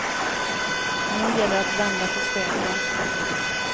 Nu gäller det att vända på steken.